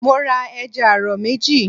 Mo ra ẹja àrọ̀ méjì.